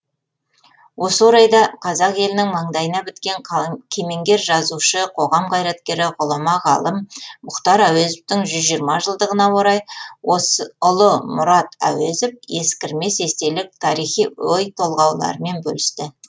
осы орайда қазақ елінің маңдайына біткен кемеңгер жазушы қоғам қайраткері ғұлама ғалым мұхтар әуезовтің жүз жиырма жылдығына орай ұлы мұрат әуезов ескірмес естелік тарихи өй толғауларымен бөлісті